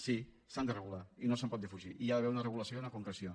sí s’han de regular i no se’n pot defugir hi ha d’haver una regulació i una concreció